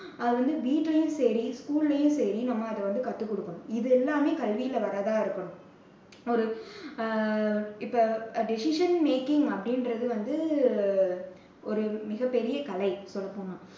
அது வந்து வீட்டுலேயும் சரி, school லேயும் சரி, நம்ம அதை வந்து கத்துக் கொடுக்கணும். இது எல்லாமே கல்வியில வர்றதா இருக்கணும்.